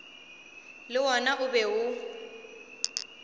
le wona o be o